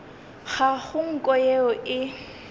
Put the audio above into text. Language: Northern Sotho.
ga go nko yeo e